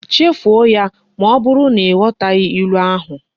Chefuo ya! ma oburu na ighotaghi ilu ahu